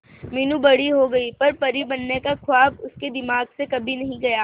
मीनू बड़ी हो गई पर परी बनने का ख्वाब उसके दिमाग से कभी नहीं गया